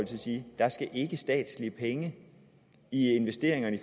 sige der skal ikke statslige penge i investeringerne